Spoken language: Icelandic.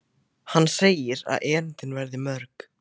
Hann segir að erindin verði mörg.